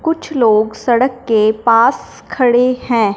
कुछ लोग सड़क के पास खड़े हैं।